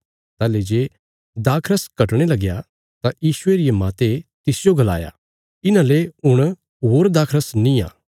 ताहली जे दाखरस घटणे लगया तां यीशुये रिये माते तिसजो गलाया इन्हांले हुण होर दाखरस निआं